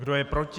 Kdo je proti?